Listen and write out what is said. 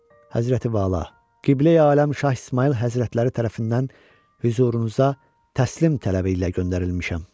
Həzrəti Vəla, Qibləyi aləm Şah İsmayıl həzrətləri tərəfindən hüzurunuza təslim tələbi ilə göndərilmişəm.